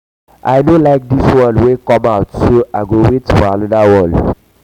i no like dis one wey come out so i go wait for another one